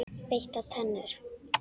Beittar tennur.